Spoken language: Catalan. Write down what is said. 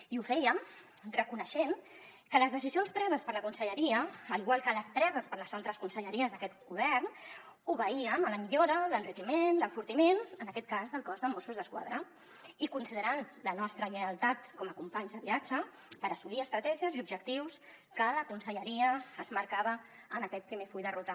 i ho fèiem reconeixent que les decisions preses per la conselleria igual que les preses per les altres conselleries d’aquest govern obeïen a la millora l’enriquiment l’enfortiment en aquest cas del cos de mossos d’esquadra i considerant la nostra lleialtat com a companys de viatge per assolir estratègies i objectius que la conselleria es marcava en aquest primer full de ruta